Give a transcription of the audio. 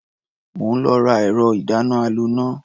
Mò ń lọ ra ẹ̀rọ-ìdáná-aloná.